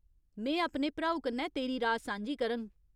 में अपने भ्राऊ कन्नै तेरी राऽ सांझी करङ।